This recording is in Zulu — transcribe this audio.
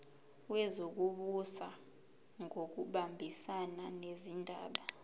wezokubusa ngokubambisana nezindaba